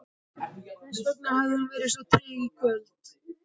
Þessvegna hafði hún verið svo treg í kvöld.